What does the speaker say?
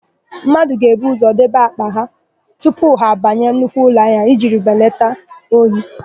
Mmadụ ga-ebu ụzọ debe àkpà ha tupu ha abanye nnukwu ụlọahịa iji were belata ohi.